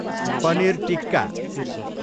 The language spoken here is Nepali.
पनिर टिक्का